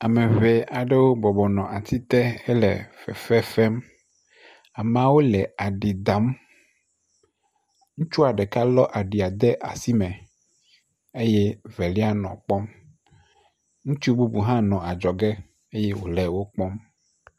Ame ŋee aɖewo bɔbɔ nɔ ati te hele fefe fem, ameawo le aɖi dam, ŋutsua ɖeka lɔ aɖi de asime eye evelia nɔ kpɔm, ŋutsu bubu hã nɔ adzɔge eye wòle wo kpɔm.